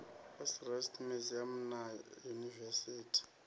s rest museum na yunivesithi